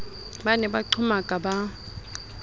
ba ne ba qhomaka ba